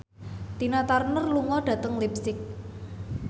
Tina Turner lunga dhateng leipzig